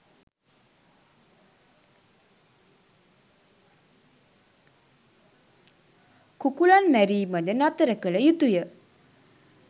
කුකුළන් මැරීමද නතර කළ යුතු ය.